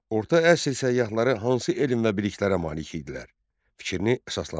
Orta əsr səyyahları hansı elm və biliklərə malik idilər, fikrini əsaslandır.